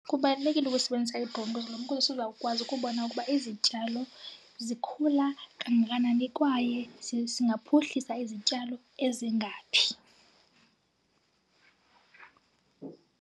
Kubalulekile ukusebenzisa ukuze sizawukwazi ukubona ukuba izityalo zikhula kangakanani kwaye singaphuhlisa izityalo ezingaphi.